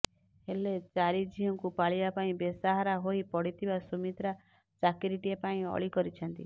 ହେଲେ ଚାରି ଝିଅଙ୍କୁ ପାଳିବା ପାଇଁ ବେସାହାରା ହୋଇ ପଡ଼ିଥିବା ସୁମିତ୍ରା ଚାକିରିଟିଏ ପାଇଁ ଅଳି କରିଛନ୍ତି